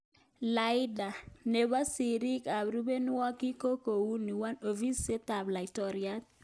Laida. nepo siriik ak rupeihwokik ko kouni;1.Ofisit ap Laitoriat.